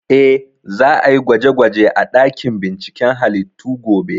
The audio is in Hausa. Eh, za a yi gwaje gwaje a ɗakin binciken halittu gobe